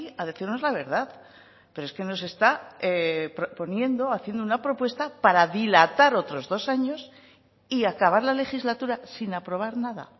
a decirnos la verdad pero es que nos está proponiendo haciendo una propuesta para dilatar otros dos años y acabar la legislatura sin aprobar nada